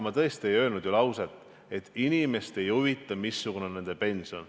Ma tõesti ei öelnud lauset, et inimesi ei huvita, missugune on nende pension.